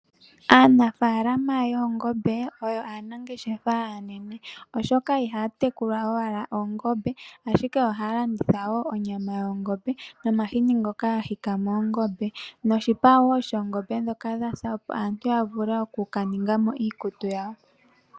Aanafaalama yoongombe oyo aanangashefa aanene oshoka ihaya tekula nawa oongombe ashike ohaya landitha wo onyama yoongombe nomahini ngoka ga hikwa moongombe noshipa wo shoongombe ndhoka dhasa opo aantu ya vule oku ka ningamo iikutu yawo.